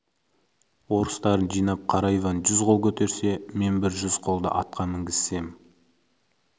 орыстарын жинап қара иван жүз қол көтерсе мен бір жүз қолды атқа мінгізсем